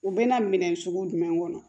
U bɛna minɛn sugu jumɛnw kɔnɔ